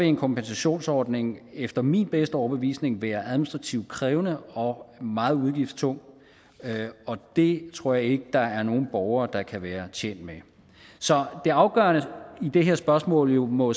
en kompensationsordning efter min bedste overbevisning være administrativt krævende og meget udgiftstung og det tror jeg ikke der er nogen borgere der kan være tjent med så det afgørende i det her spørgsmål må